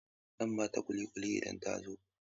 Zan ba ta ƙuliƙuli idan ta zo.